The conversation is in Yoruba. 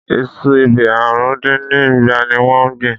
Iṣu ebè àrùn dín ní igba ni wọ́n gbìn?